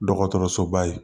Dɔgɔtɔrɔsoba ye